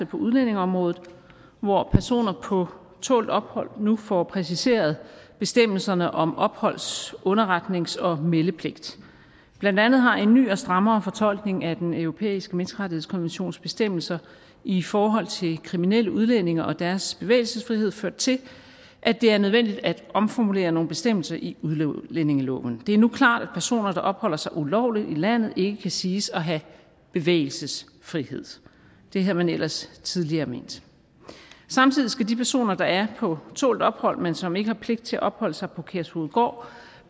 på udlændingeområdet hvor personer på tålt ophold nu får præciseret bestemmelserne om opholds underretnings og meldepligt blandt andet har en ny og strammere fortolkning af den europæiske menneskerettighedskonventions bestemmelser i forhold til kriminelle udlændinge og deres bevægelsesfrihed ført til at det er nødvendigt at omformulere nogle bestemmelser i udlændingeloven det er jo klart at personer der opholder sig ulovligt i landet ikke kan siges at have bevægelsesfrihed det havde man ellers tidligere ment samtidig skal de personer der er på tålt ophold men som ikke har pligt til at opholde sig på kærshovedgård